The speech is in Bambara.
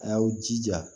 A y'aw jija